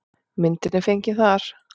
Myndin er fengin þar.